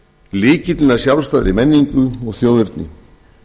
lykillinn að sjálfstæðri menningu og þjóðerni